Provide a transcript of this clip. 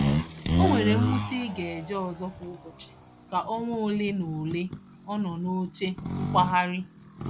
O mere mmuta i ga ije ọzọ kwa ụbọchị ka ọnwa ole na ole ọ nọ n'oche nkwagharị.